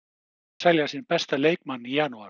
Hver ætlar að selja sinn besta leikmann í janúar?